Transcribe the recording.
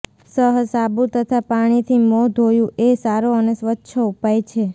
સઃ સાબુ તથા પાણીથી મોં ધોયું એ સારો અને સ્વચ્છ ઉપાય છે